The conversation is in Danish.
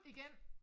Igen